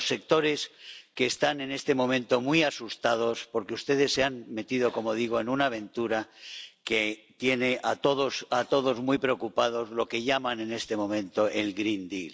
de los sectores que están en este momento muy asustados porque ustedes se han metido —como digo— en una aventura que tiene a todos muy preocupados lo que llaman en este momento el Green Deal